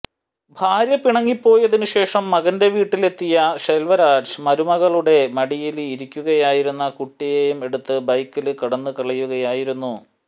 ഭാര്യ പിണങ്ങിപ്പോയതിന് ശേഷം മകന്റെ വീട്ടിലെത്തിയ ശെല്വരാജ് മരുകളുടെ മടിയില് ഇരിക്കുകയായിരുന്ന കുട്ടിയേയും എടുത്ത് ബൈക്കില് കടന്നു കളയുകയായിരുന്നു